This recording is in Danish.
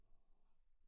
Nja